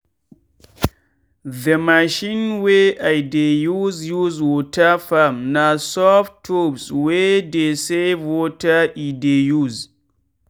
the machine wey i dey use use water farm na soft tubes wey dey save water e dey use.